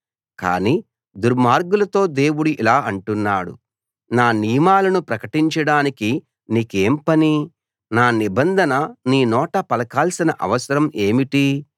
కానీ దుర్మార్గులతో దేవుడు ఇలా అంటున్నాడు నా నియమాలను ప్రకటించడానికి నీకేం పని నా నిబంధన నీ నోట పలకాల్సిన అవసరం ఏమిటి